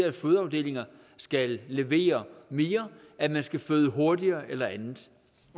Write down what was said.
at fødeafdelinger skal levere mere at man skal føde hurtigere eller andet